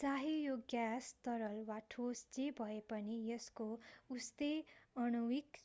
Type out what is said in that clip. चाहे यो ग्याँस तरल वा ठोस जे भएपनि यसको उस्तै आणविक